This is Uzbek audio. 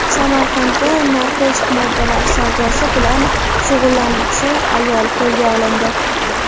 Samarqandda narkotik moddalar savdosi bilan shug‘ullanuvchi ayol qo‘lga olindi.